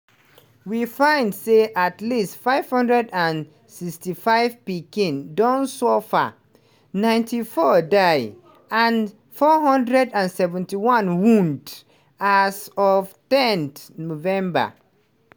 we find say at least 565 pikin don suffer – 94 die and 471 wound – as of ten november.